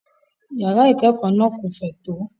Yàrá ìkẹ́kọ̀ọ́ náà kò fẹ̀ tó.